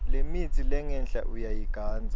lemitsi lengenhla uyayigandza